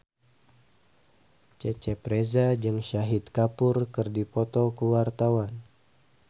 Cecep Reza jeung Shahid Kapoor keur dipoto ku wartawan